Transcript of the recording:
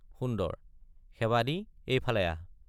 সুন্দৰ—শেৱালি এই ফালে আহ!